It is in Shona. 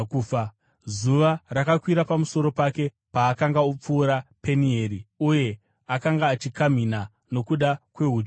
Zuva rakakwira pamusoro pake, paakanga opfuura Penieri, uye akanga achikamhina nokuda kwehudyu yake.